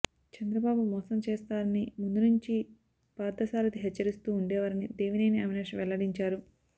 చంద్రబాబు మోసం చేస్తారని ముందు నుంచి పార్థసారధి హెచ్చరిస్తూ ఉండేవారని దేవినేని అవినాష్ వెల్లడించారు